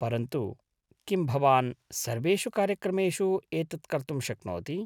परन्तु किं भवान् सर्वेषु कार्यक्रमेषु एतत् कर्तुं शक्नोति ?